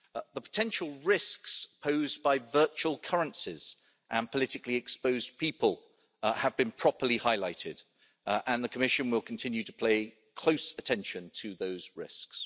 The potential risks posed by virtual currencies and politically exposed people have been properly highlighted, and the Commission will continue to play close attention to those risks.